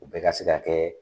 U bɛɛ ka se ka kɛ